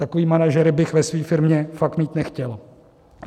Takové manažery bych ve své firmě fakt mít nechtěl.